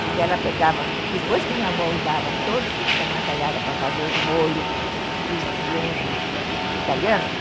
Pois ela pegava, depois que minha avó usava todo aquele tomataiada para fazer os molhos para os genros italianos,